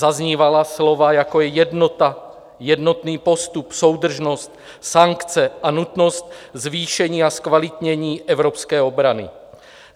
Zaznívala slova, jako je jednota, jednotný postup, soudržnost, sankce a nutnost zvýšení a zkvalitnění evropské obrany.